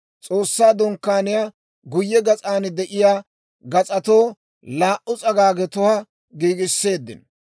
S'oossaa Dunkkaaniyaa guyye gas'an de'iyaa gas'atoo laa"u s'agaagetuwaa giigiseeddino.